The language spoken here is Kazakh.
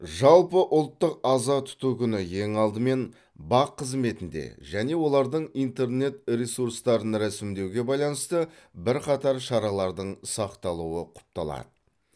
жалпыұлттық аза тұту күні ең алдымен бақ қызметінде және олардың интернет ресурстарын рәсімдеуге байланысты бірқатар шаралардың сақталуы құпталады